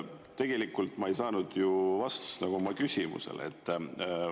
Tegelikult ma ei saanud vastust oma küsimusele.